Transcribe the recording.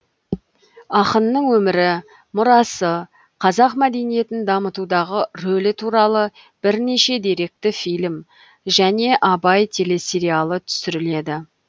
ақынның өмірі мұрасы қазақ мәдениетін дамытудағы рөлі туралы бірнеше деректі фильм және абай телесериалы түсіріледі